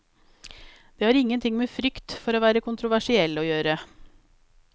Det har ingenting med frykt for å være kontroversiell å gjøre.